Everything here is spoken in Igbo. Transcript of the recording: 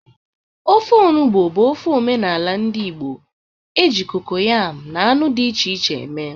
Ofe enugbe bụ ofe omenala ndị Igbo e ji kokoyam na anụ dị iche iche eme.